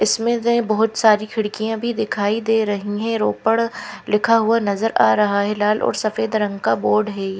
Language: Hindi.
इसमें से बहुत सारी खिड़कियाँ भी दिखाई दे रही हैं रोपड़ लिखा हुआ नज़र आ रहा है लाल और सफ़ेद रंग का बोर्ड है।